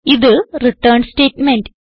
ഇത് return statement